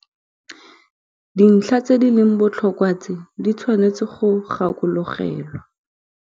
Dintlha tse di leng botlhokwa tse di tshwanetseng go gakologelwa.